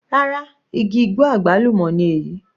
Rárá, igi igbó àgbálùmọ́ ni èyí.